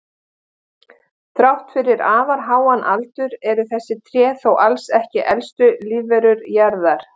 Þrátt fyrir afar háan aldur eru þessi tré þó alls ekki elstu lífverur jarðar.